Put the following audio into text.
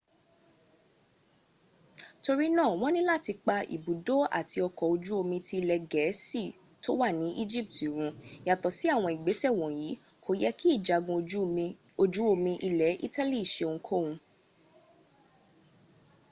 torí náà wọ́n ni láti pa ibùdó àt ọkọ̀ ojú omi tí ilẹ̀ gẹ̀ẹ́sì tó wà ní́ egypt run . yàtọ̀ sí àwọn ìgbésẹ̀ wọ̀nyí kò yẹ́ kí ìjagun ojú omi ilẹ̀ italy seohunkóhun